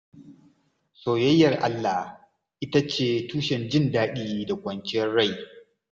Soyayyar Allah ita ce tushen jin daɗi da kwanciyar rai.